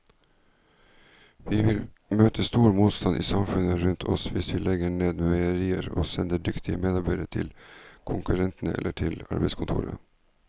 Vi vil møte stor motstand i samfunnet rundt oss hvis vi legger ned meierier og sender dyktige medarbeidere til konkurrentene eller til arbeidskontoret.